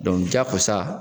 jakosa